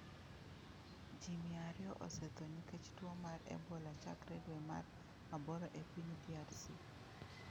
Ji mia ariyo osetho nikech tuo mar Ebola chakre dwe mar aboro e piny DRC